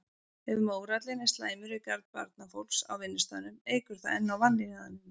Ef mórallinn er slæmur í garð barnafólks á vinnustaðnum eykur það enn á vanlíðanina.